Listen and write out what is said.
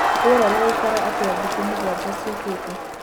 rĩera rĩgaĩkara atĩa thĩkũ mũgwanja ciukite